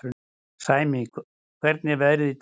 Sæmi, hvernig er veðrið í dag?